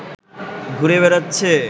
ঘুরে বেড়াচ্ছে